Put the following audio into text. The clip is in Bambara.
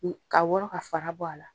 Kun ka wɔrɔ ka fara bɔ a la.